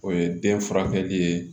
O ye den furakɛli ye